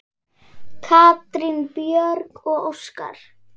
Katrín Björg og Óskar.